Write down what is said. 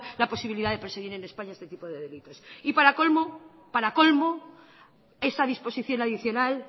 la posibilidad de perseguir en españa este tipo de delitos y para colmo esa disposición adicional